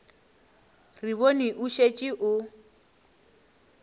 re bone o šetše o